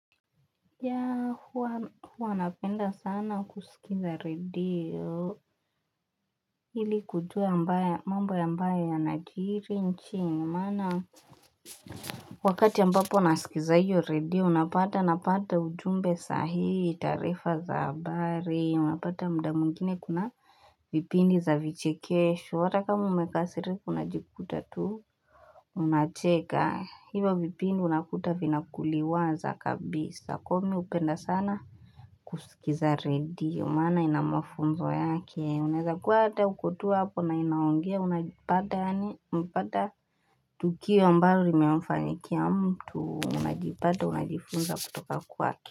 Ya huwa anapenda sana kusikiza redio ili kujua mbaya mambo ya mbaya yanajiri nchini maana Wakati ambapo nasikiza hiyo redio napata napata ujumbe sahihi taarifa za habari unapata muda mwingine kuna vipindi za vichikesho hata kama umekasirika unajikuta tu Unacheka hivyo vipindi unakuta vina kuliwaza kabisa kwa hiyo mimi hupenda sana kusikiza redio maana ina mafunzo yake unaweza kuwa hata uko tu hapo na inaongea unajipata yaani unapata tukio ambalo limewafanyikia mtu unajipata unajifunza kutoka kwake.